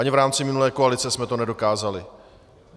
Ani v rámci minulé koalice jsme to nedokázali.